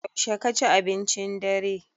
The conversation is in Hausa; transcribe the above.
Yaushe ka ci abincin dare?